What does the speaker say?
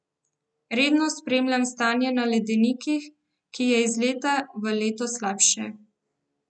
Redno spremljam stanje na ledenikih, ki je iz leta v leto slabše.